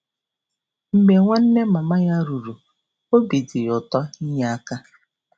Mgbe nwanne mama ya ruru,, obi dị ya ụtọ inye aka.